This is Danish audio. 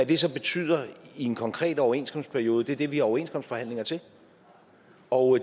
det så betyder i en konkret overenskomstperiode er det vi har overenskomstforhandlinger til og